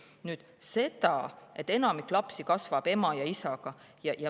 Nüüd see, et enamik lapsi kasvaks ema ja isaga.